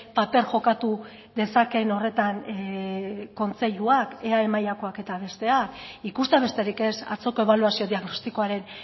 paper jokatu dezakeen horretan kontseiluak eae mailakoak eta besteak ikustea besterik ez atzoko ebaluazio diagnostikoaren